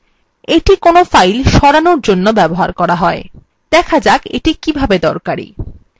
এইটি কোনো files সরানোর জন্য ব্যবহৃত হয় দেখা যাক এটি কিভাবে দরকারী